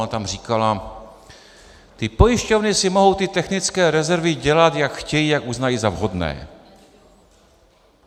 Ona tam říkala: Ty pojišťovny si mohou ty technické rezervy dělat, jak chtějí, jak uznají za vhodné.